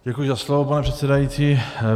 Děkuji za slovo, pane předsedající.